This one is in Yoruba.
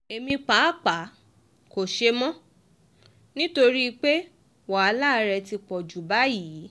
èmi pàápàá kò ṣe mọ̀ ọ́ nítorí pé wàhálà rẹ ti pọ̀ ju báyìí